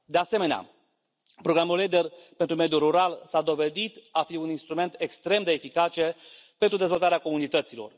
De asemenea, Programul LEADER pentru mediul rural s a dovedit a fi un instrument extrem de eficace pentru dezvoltarea comunităților.